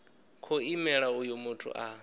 khou imela uyo muthu a